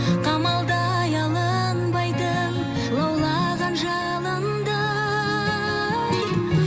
қамалдай алынбайтын лаулаған жалындай